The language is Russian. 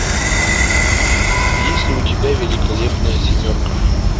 есть ли у тебя великолепная семерка